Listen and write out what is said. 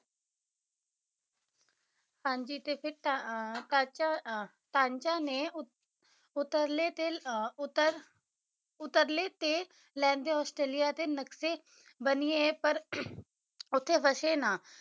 ਹਾਂਜੀ ਤੇ ਫਿਰ ਅਹ ਸਾਂਚਾ ਸਾਂਚਾ ਨੇ ਉ ਉਤਰਲੇ ਤਿਲ ਉਤਰ ਉਤਰਲੇ ਤੇ ਲਹਿੰਦੇ ਆਸਟ੍ਰੇਲੀਆ ਦੇ ਨਕਸ਼ੇ ਬਣੀਏ ਪਰ ਉੱਥੇ ਵਸੇ ਨਾ